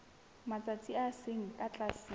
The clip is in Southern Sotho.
matsatsi a seng ka tlase